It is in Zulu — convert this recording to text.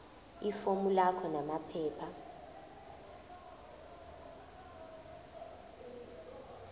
ifomu lakho namaphepha